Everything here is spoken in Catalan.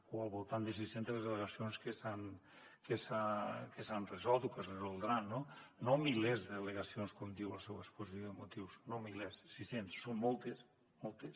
o al voltant de sis centes les al·legacions que s’han resolt o que es resoldran no no milers d’al·legacions com diu la seua exposició de motius no milers sis centes són moltes moltes